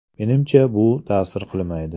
Menimcha, bu ta’sir qilmaydi.